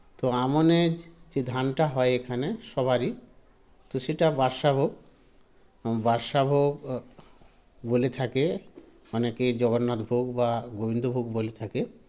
তো আমনের যে ধানটা হয় এখানে সবারই তো সেটা বাদশাহ ভোগ বাদশাহ ভোগ আ বলে থাকে অনেকে জগন্নাথ ভোগ বা গোবিন্দ ভোগ বলে থাকে